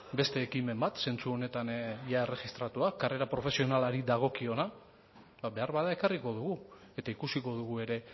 beste ekimen bat zentzu honetan jada erregistratua karrera profesionalari dagokiona beharbada ekarriko dugu eta ikusiko dugu ere